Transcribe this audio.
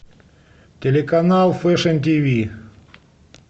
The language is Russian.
телеканал фешн тиви